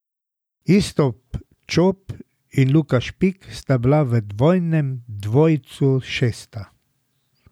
Iztok Čop in Luka Špik sta bila v dvojnem dvojcu šesta.